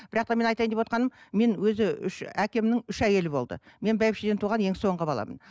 бірақ та менің айтайын деп отырғаным мен өзі үш әкемнің үш әйелі болды мен бәйбішеден туған ең соңғы баламын